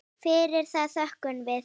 Fyrir það þökkum við.